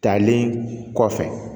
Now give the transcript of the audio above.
Talen kɔfɛ